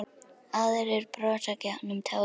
Aðrir brosa gegnum tárin.